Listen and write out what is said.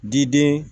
Diden